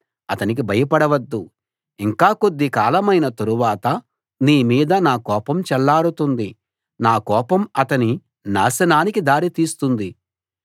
అతనికి భయపడవద్దు ఇంక కొద్ది కాలమైన తరువాత నీ మీద నా కోపం చల్లారుతుంది నా కోపం అతని నాశనానికి దారి తీస్తుంది